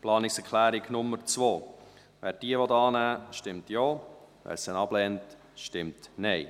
Wer die Planungserklärung 2 annehmen will, stimmt Ja, wer diese ablehnt, stimmt Nein.